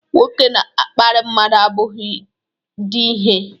nwoke na-akparị mmadụ abụghị di ihe